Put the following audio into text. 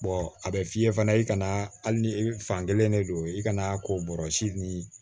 a bɛ f'i ye fana i kana hali ni fankelen de don i kana kobɔrɔ si ni